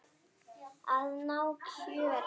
Að ná kjöri.